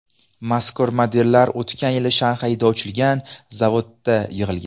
Mazkur modellar o‘tgan yili Shanxayda ochilgan zavodda yig‘ilgan.